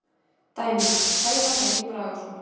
Dæmi: Sævar Helgi Bragason.